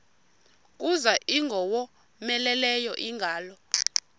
kuza ingowomeleleyo ingalo